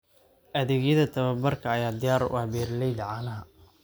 Adeegyada tababarka ayaa diyaar u ah beeralayda caanaha.